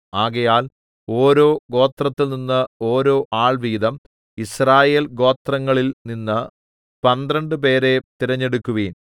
ആകയാൽ ഓരോ ഗോത്രത്തിൽനിന്ന് ഓരോ ആൾ വീതം യിസ്രായേൽ ഗോത്രങ്ങളിൽനിന്ന് പന്ത്രണ്ട് പേരെ തെരഞ്ഞെടുക്കുവീൻ